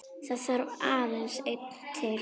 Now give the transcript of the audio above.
Það þarf aðeins einn til.